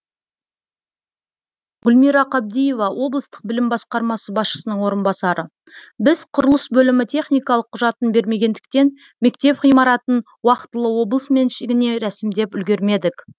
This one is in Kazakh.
гүлмира қабдиева облыстық білім басқармасы басшысының орынбасары біз құрылыс бөлімі техникалық құжатын бермегендіктен мектеп ғимаратын уақытылы облыс меншігіне рәсімдеп үлгермедік